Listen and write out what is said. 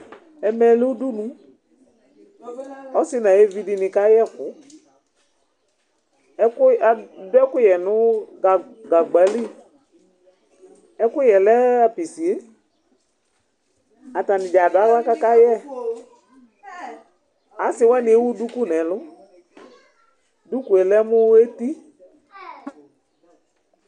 Ɛmɛ lɛ udunu, ɔsidi nu ayu evi di ni ka yɛ ɛku, ɛkɛ, adu ɛkuyɛ nu ga gagba li, ɛkuyɛ lɛ apisiee, ata ni dza adu aɣla ka ka yɛ, asi wani ewu duku nu ɛlu, duku yɛ lɛ mu eti